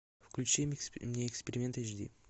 включи мне эксперимент эйч ди